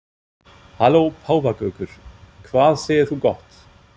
Halló páfagaukur, hvað segir þú gott?